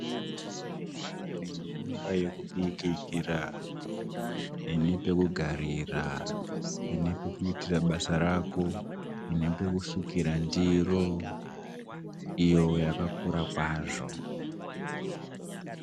Imba yekubikira, ine pekugarira, ine pekuitira basa rako, ine pekusukira ndiro, iyo yakakura kwazvo.